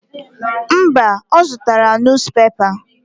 Mba, ọ zụtara nus pepa.